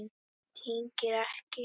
Tengdir ekki.